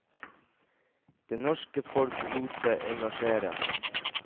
Det norske folk lot seg engasjere.